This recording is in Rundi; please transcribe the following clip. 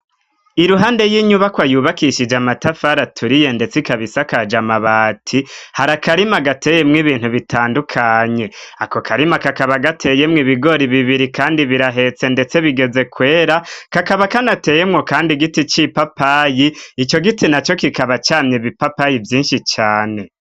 Iruhande y'inyubakwa yubakishije amatafari aturiye ndetse ikaba isakaje amabati, hari akarima gateyemwo ibintu bitandukanye. Ako karima kakaba gateyemwo ibigori bibiri kandi birahetse ndetse bigeze kwera, kakaba kanateyemwo kandi igiti c'ipapayi, ico giti na co kikaba camye ibipapayi vyinshi cane.